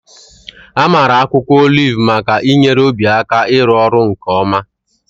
Amara akwụkwọ oliv maka inyere obi aka ịrụ ọrụ nke ọma.